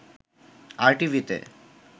আরটিভিতে